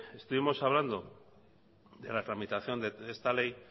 estuvimos hablando de la tramitación de esta ley